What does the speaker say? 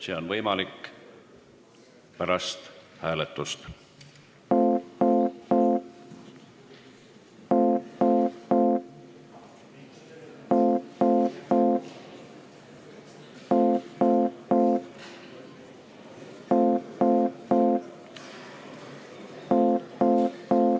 See on võimalik pärast hääletust.